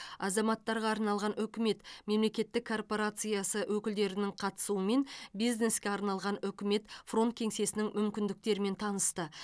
азаматтарға арналған үкімет мемлекеттік корпорациясы өкілдерінің қатысуымен бизнеске арналған үкімет фронт кеңсесінің мүмкіндіктерімен танысты